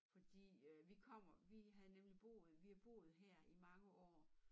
Fordi øh vi kommer vi havde nemlig boet vi har boet her i mange år